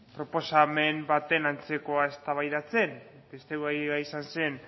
proposamen baten antzekoa eztabaidatzen beste gaia izan zen